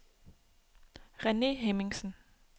Rene Hemmingsen